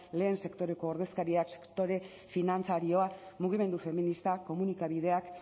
lehen sektoreko ordezkariak sektore finantzarioa mugimendu feministak komunikabideak